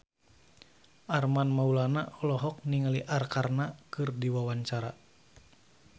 Armand Maulana olohok ningali Arkarna keur diwawancara